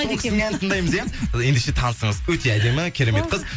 сол кісінің әнін тыңдаймыз иә ендеше танысыңыз өте әдемі керемет қыз